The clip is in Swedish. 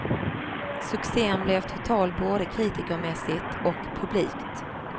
Succen blev total både kritikermässigt och publikt.